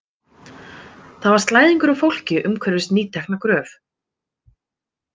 Þar var slæðingur af fólki umhverfis nýtekna gröf.